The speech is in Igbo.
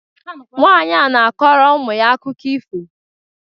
Nwanyị a na-akọrọ ụmụ ya akụkọ ifo